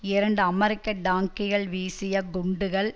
இரண்டு அமெரிக்க டாங்கிகள் வீசிய குண்டுகள்